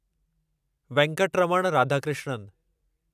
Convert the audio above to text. Venkataraman Radhakrishnan